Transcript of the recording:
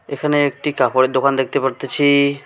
এখানে একটি কাপড়ের দোকান দেখতে পারতাছি।